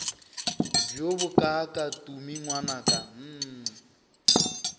bjo bokaaka tumi ngwanaka hm